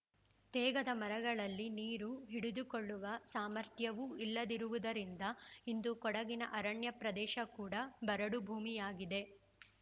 ತೇಗದ ಮರಗಳಲ್ಲಿ ನೀರು ಹಿಡಿದುಕೊಳ್ಳುವ ಸಾಮರ್ಥ್ಯವೂ ಇಲ್ಲದಿರುವುದರಿಂದ ಇಂದು ಕೊಡಗಿನ ಅರಣ್ಯ ಪ್ರದೇಶ ಕೂಡ ಬರಡು ಭೂಮಿಯಾಗಿದೆ